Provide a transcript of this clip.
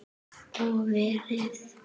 Með kertum?